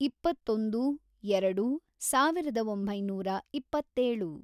ಇಪ್ಪತ್ತೊಂದು, ಎರೆಡು, ಸಾವಿರದ ಒಂಬೈನೂರ ಇಪ್ಪತ್ತೇಳು